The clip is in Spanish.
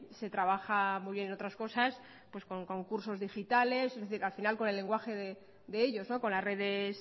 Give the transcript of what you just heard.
se trabaja muy bien en otras cosas pues con concursos digitales al final con el lenguaje de ellos con las redes